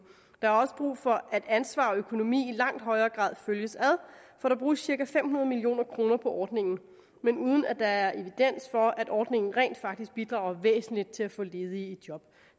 der er også brug for at ansvar og økonomi i langt højere grad følges ad for der bruges cirka fem hundrede million kroner på ordningen men uden at der er evidens for at ordningen rent faktisk bidrager væsentligt til at få ledige i job